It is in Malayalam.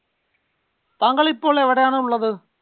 താങ്കൾ ഇപ്പൊ ഉള്ളത് എവടെയാണ് ഉള്ളത്